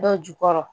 Dɔ jukɔrɔ